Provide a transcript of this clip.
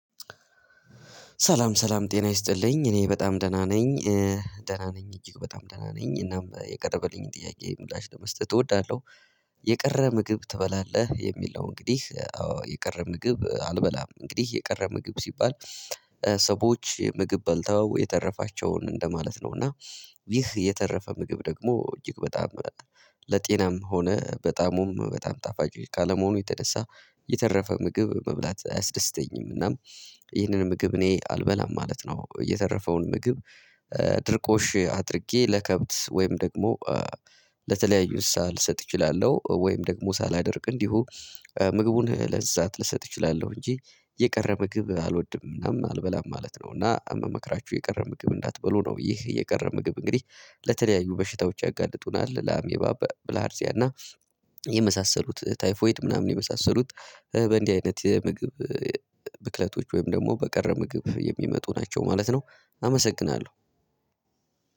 ሰላም ሰላም ጤና ይስጥልኝ እኔ በጣም ደህና ነኝ። ደህና ነኝ እጅግ በጣም ደህና ነኝ እናም የቀረበልኝንጰጥያቄ ምላሽ ለመስጠት እወዳለሁ። የቀረ ምግብ ትበላለህ የሚለው እንግዲህ አዎ የቀረ ምግብ አልበላም እንግዲህ የቀረ ምግብ ሲባል። ሰዎች ምግብ በልተው የተረፋቸውን እንደማለት ነው እና። ይህ የተረፈ ምግብ ደግሞ እጅግ በጣም ለጤናም ሆነ በጣምም በጣም ጣፋጭ ካለመሆኑ የተነሳ የተረፈ ምግብ መብላት አያስደስተኝም። እናም ይህንን ምግብ እኔ አልበላም ማለት ነው። እየተረፈውን ምግብ። ድርቆሽ አድርጌ ለከብት ወይም ደግሞ ለተለያዩ ሳልሰጥ እችላለሁ ወይም ደግሞ ሳላደርቅ እንዲሁ ምግቡን ለእንስሳት ልሰጥ እችላለሁ። እንጂ የቀረ ምግብ አልወድም ምናምን አልበላም ማለት ነው። እና ምመክራችሁ የቀረ ምግብ እንዳትበሉ ነው። ይህ የቀረ ምግብ እንግዲህ ለተለያዩ በሽታዎች ያጋልጡናል ለአሜባ ብላርዚያ እና ለመሳሰሉት ታይፎይድ ምናምን የመሳሰሉት። በእንዲህ አይነት የምግብ ብክለቶች ወይም ደግሞ በቀረ ምግብ የሚመጡ ናቸው ማለት ነው። አመሰግናለሁ።